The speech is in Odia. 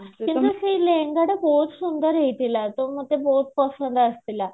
ସେଇ ଲେହେଙ୍ଗା ଟା ବହୁତ ସୁନ୍ଦର ହେଇଥିଲା ତ ମତେ ବହୁତ ପସନ୍ଦ ଆସୁଥିଲା